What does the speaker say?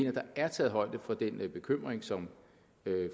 at der er taget højde for den bekymring som